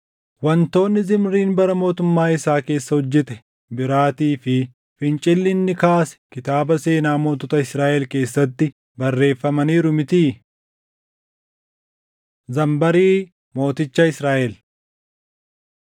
Wantoonni Zimriin bara mootummaa isaa keessa hojjete biraatii fi fincilli inni kaase kitaaba seenaa mootota Israaʼel keessatti barreeffamaniiru mitii? Zanbarii Mooticha Israaʼel